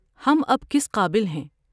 ہم اب کس قابل ہیں